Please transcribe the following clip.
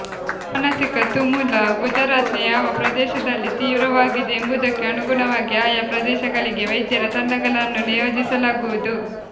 ಮಾನಸಿಕ ತುಮುಲ ಗುಜರಾತ್ನ ಯಾವ ಪ್ರದೇಶದಲ್ಲಿ ತೀವ್ರವಾಗಿದೆ ಎಂಬುದಕ್ಕೆ ಅನುಗುಣವಾಗಿ ಆಯಾ ಪ್ರದೇಶಗಳಿಗೆ ವೈದ್ಯರ ತಂಡಗಳನ್ನು ನಿಯೋಜಿಸಲಾಗುವುದು